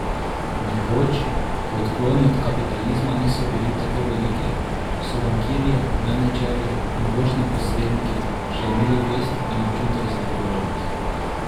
Nekoč, ko odkloni od kapitalizma niso bili tako veliki, so bankirji, menedžerji in borzni posredniki še imeli vest in občutek za odgovornost.